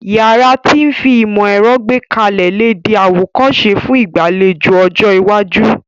Yàrá ti fi ìmó-èro gbékalẹ̀ le dí àwòkóse fun ìgbàlejò ọjọ́ iwájú